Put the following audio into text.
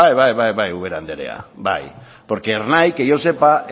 bai bai bai ubera anderea bai porque ernai que yo sepa